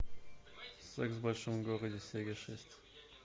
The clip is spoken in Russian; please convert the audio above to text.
секс в большом городе серия шесть